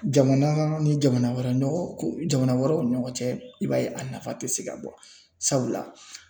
Jamana ni jamana wɛrɛ jamana wɛrɛw ni ɲɔgɔn cɛ i b'a ye a nafa tɛ se ka bɔ sabula.